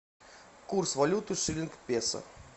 курс валюты шиллинг песо